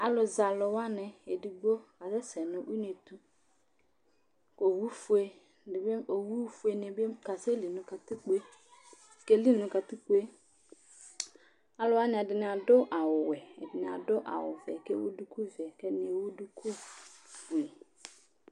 Alʋzɛ alʋ wanɩ, edigbo kasɛsɛ nʋ une tʋ kʋ owufue dɩ bɩ ma owunɩ bɩ kasɛli nʋ katkpo yɛ, keli nʋ katikpo yɛ Alʋ wanɩ, ɛdɩnɩ adʋ awʋwɛ, ɛdɩnɩ adʋ awʋvɛ kʋ ewu dukuvɛ kʋ ɛdɩnɩ ewu dukufue